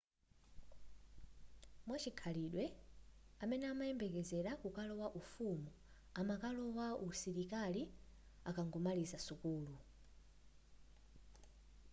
mwachikhalidwe amene amayembekezela kukalowa ufumu ankalowa usilikali akangomaliza sukulu